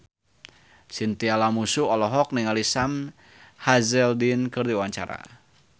Chintya Lamusu olohok ningali Sam Hazeldine keur diwawancara